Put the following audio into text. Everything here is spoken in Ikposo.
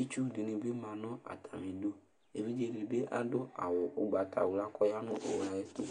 Itsu dɩnɩ bɩ ma nʋ atamɩdu Evidze dɩ bɩ adʋ awʋ ʋgbatawla kʋ ɔya nʋ owu yɛ ayɛtʋ